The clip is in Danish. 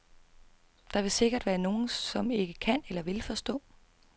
Der vil sikkert være nogle, som ikke kan eller vil forstå.